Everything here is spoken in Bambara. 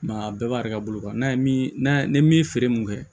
a bɛɛ b'a yɛrɛ ka bolo kan n'a ye mi feere mun kɛ